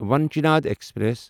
وانچِند express